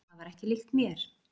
Það var ekki líkt mér.